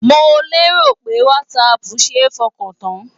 Mo lérò pé Whatsapp ṣe é fọkàn tán?